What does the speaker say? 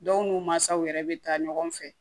Dɔw n'u mansaw yɛrɛ bɛ taa ɲɔgɔn fɛ